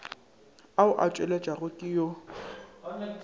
ao a tšweletšwago ke yo